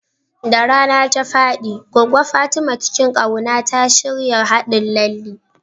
Da rana ta faɗi, Goggo Fatima cikin ƙauna ta shirya haɗin lalle.